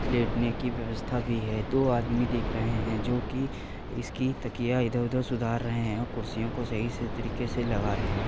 लेटने की व्यवस्था भी है दो आदमी दिख रहे हैं जोकि इसकी तकिया इधर-उधर सुधार रहे हैं और कुर्सियों को सही से तरीके से लगा रहै हैं।